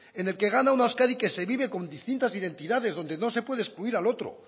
en el que gana una euskadi que se vive con distintas identidades y no se puede excluir al otro